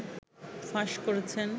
ফাঁস করেছেন